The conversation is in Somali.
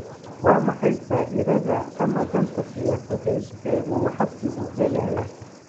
Waa maxay faa’iidada ama danta siyaasadeed ee uu xisbigu helayaa?